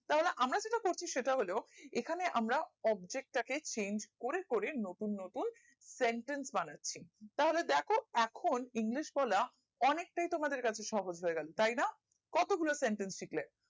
তাহলে আমরা যেটা করছি সেটা হল এখানে আমরা objectchange করে করে নতুন নতুন sentence বানাচ্ছি তাহলে দেখো এখন english বলা অনেকটাই তোমাদের কাছে সহজ হয়ে গেল তাই না কতগুলো sentence শিখলে